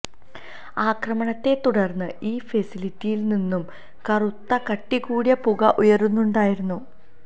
ആക്രമണത്തെ തുടര്ന്ന് ഈ ഫെസിലിറ്റിയില് നിന്നും കറുത്ത കട്ടികൂടിയ പുക ഉയരുന്നുണ്ടായിരുന്നു